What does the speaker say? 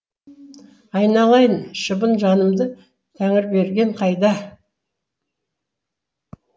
айналайын шыбын жанымды тәңірберген қайда